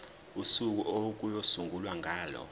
usuku okuyosungulwa ngalo